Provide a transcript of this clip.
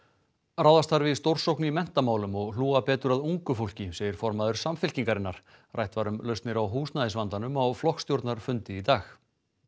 ráðast þarf í stórsókn í menntamálum og hlúa betur að ungu fólki segir formaður Samfylkingarinnar rætt var um lausnir á húsnæðisvandanum á flokksstjórnarfundi í dag